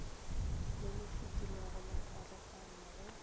le lefetilego la karogano go